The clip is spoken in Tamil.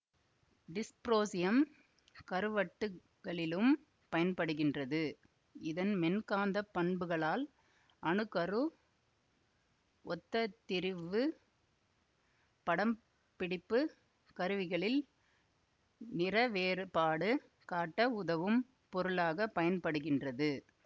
டிஸ்ப்ரோசியம் கறுவட்டுகளிலும் பயன்படுகின்றது இதன் மென்காந்தப் பண்புகளால் அணு கரு ஒத்ததிரிவுப் படம்பிடிப்புக் கருவிகளில் நிறவேறுபாடு காட்ட உதவும் பொருளாக பயன்படுகின்றது